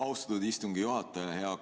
Austatud istungi juhataja!